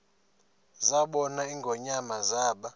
zabona ingonyama zaba